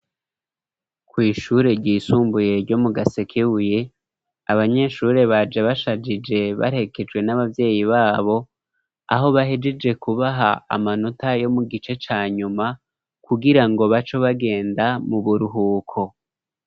Kwishure ry'isumbuye ryo mu gasekebuye, abanyeshure baje bashajije barekejwe n'abavyeyi babo aho bahejeje kubaha amanota yo mu gice cya nyuma kugira ngo baco bagenda mu buruhuko.